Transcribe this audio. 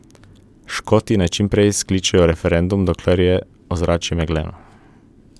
Škoti naj čimprej skličejo referendum, dokler je ozračje megleno.